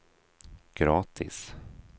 gratis